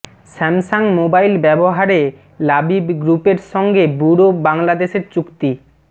Samsung mobile ব্যবহারে লাবিব গ্রুপের সঙ্গে ব্যুরো বাংলাদেশের চুক্তি